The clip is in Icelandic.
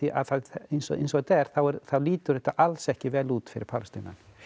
eins og eins og þetta er er þá lítur þessa alls ekki vel út fyrir Palestínumenn